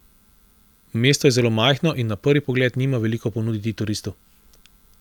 Mesto je zelo majhno in na prvi pogled nima veliko ponuditi turistu.